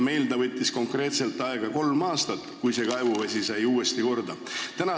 Meil läks konkreetselt aega kolm aastat, enne kui kaevuvesi sai uuesti korda.